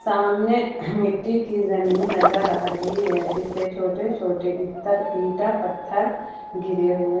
सामने मिट्टी की जमीन नजर आ रही है जिस पे छोटे छोटे इत्तर ईटा पत्थर गिरे हुए।